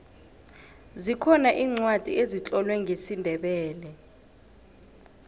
zikhona iincwadi ezitlolwe ngesindebele